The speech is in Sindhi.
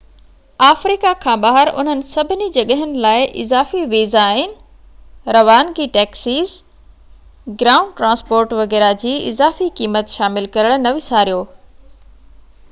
آفريڪا کان ٻاهر انهن سڀني جڳهين لاءِ اضافي ويزائن روانگي ٽيڪسز گرائونڊ ٽرانسپورٽ وغيره جي اضافي قيمت شامل ڪرڻ نه وساريو